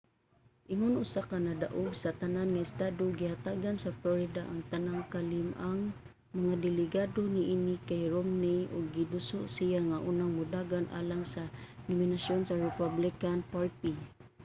ingon usa ka nadaog-sa-tanan nga estado gihatagan sa florida ang tanang kalim-ang mga delegado niini kay romney ug giduso siya nga unang modagan alang sa nominasyon sa republican party